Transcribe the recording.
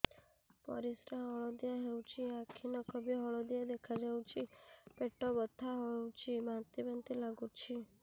ପରିସ୍ରା ହଳଦିଆ ହେଉଛି ଆଖି ନଖ ବି ହଳଦିଆ ଦେଖାଯାଉଛି ପେଟ ବଥା ହେଉଛି ବାନ୍ତି ବାନ୍ତି ଲାଗୁଛି